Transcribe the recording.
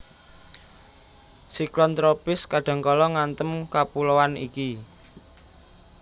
Siklon tropis kadhangkala ngantem kapuloan iki